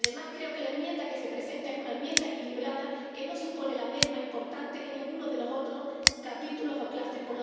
Además, creo que la enmienda que se presenta es una enmienda equilibrada que no supone la merma importante de ninguno de los otros capítulos o clústeres.